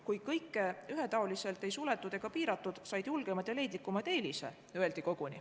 Kui kõike ühetaoliselt ei suletud ega piiratud, siis öeldi koguni nii, et julgemad ja leidlikumad said eelise.